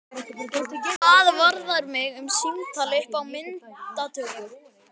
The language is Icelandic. Hvað varðar mig um símtal upp á myndatöku?